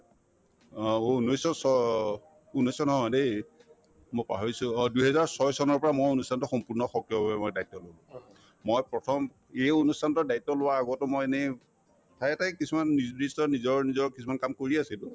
অ, ঔ ঊন্নৈশ ছ ঊন্নৈশ নহয় দেই মই পাহৰিছো অ দুইহেজাৰ ছয় চনৰ পৰা মই অনুষ্ঠানতো সম্পূৰ্ণ সক্ৰিয়ভাৱে মই দায়িত্বতো ললো মই প্ৰথম এই অনুষ্ঠানতোৰ দায়িত্ব লোৱাৰ আগতো মই এনেই ঠায়ে ঠায়ে কিছুমান নিৰ্দ্দিষ্ট নিজৰ নিজৰ কিছুমান কাম কৰিয়ে আছিলো